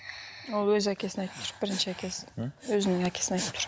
ол өз әкесін айтып тұр бірінші әкесін өзінің әкесін айтып тұр